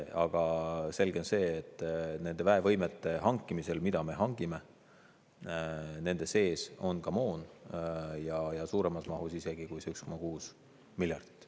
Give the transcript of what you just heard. Aga selge on see, et nende väevõimete sees, mida me hangime, on ka moon, ja suuremas mahus isegi kui see 1,6 miljardit.